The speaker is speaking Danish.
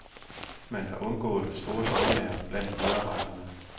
Man har undgået store dramaer blandt medarbejderne.